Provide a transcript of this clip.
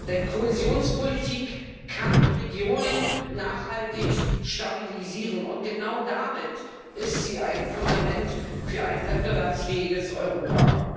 Denn Kohäsionspolitik kann Regionen nachhaltig stabilisieren, und genau damit ist sie ein Fundament für ein wettbewerbsfähiges Europa.